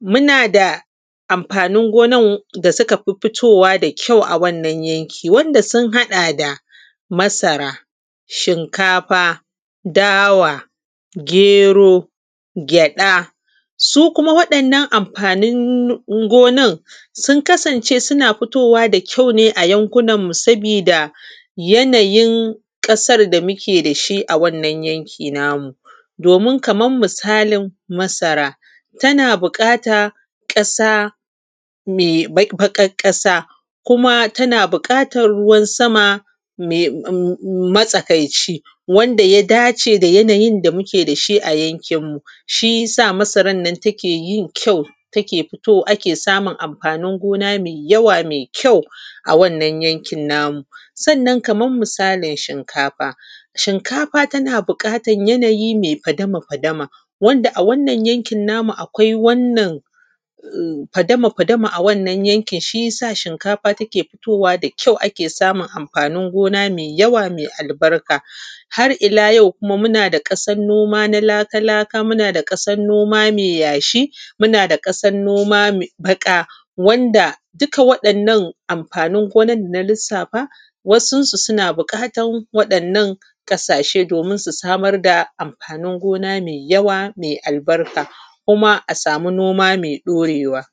muna da amfanin gonan da suka fi fitowa da kyau a wannan yanki, wanda sun haɗa da, masara, shinkafa, dawa gero, gyaɗa. Su kuma waɗannan amfanin gonan sun kasance suna fitowa da kyau a yankunan mu sabida, yanayin ƙasar da muke da shi a wannan yanki na mu. Domin kaman misalin masara tana buƙata ƙasa, me baƙaƙ ƙasa, kuma tana buƙat ruwan sama matsakaici. Wanda ya dace da yanayin da muke da shi a yankin mu, shi ya sa masaran na take kyau ake samun amfanin gona mai yawa mai kyau. A wannan yankin namu. Sannan kaman misalin shinkafa, shinkafa tana buƙatan yanayi mai fadama fadama, wanda a yankin nan namu akwai wannan fadama fadama a wannan yankin, shi ya sa shinkafa take fitowa da kyau, shi ya sa ake samun amfanin gona mai yawa mai albarka. Har-ila-yau ku kuma muna da ƙasan noma na laka-laka, muna da ƙasan noma mai yashi, muna da ƙasan noma baƙa, wanda dukaa waɗannan amfanin gonan da na lissafa, wasunsu sana buƙatan waɗannan ƙasashe domin su samar da amfanin gona mai yawa mai albarka kuma a samu noma mai ɗorewa.